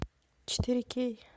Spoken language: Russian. четыре кей